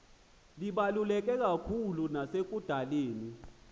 lubaluleke kakhulu nasekudaleni